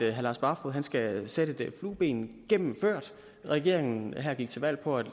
at herre lars barfoed skal sætte det flueben gennemført regeringen her gik til valg på at